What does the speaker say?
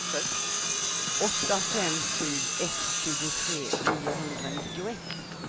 åtta fem sju ett tjugotre niohundranittioett